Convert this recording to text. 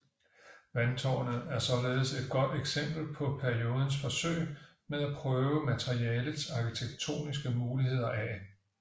Vandtårnet er således et godt eksempel på periodens forsøg med at prøve materialets arkitektoniske muligheder af